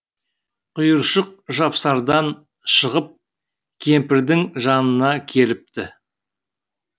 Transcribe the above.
құйыршық жапсардан шығып кемпірдің жанына келіпті